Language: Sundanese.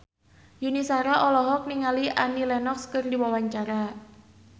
Yuni Shara olohok ningali Annie Lenox keur diwawancara